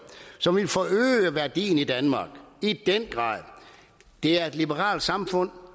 så vi får øget værdien i danmark det er et liberalt samfund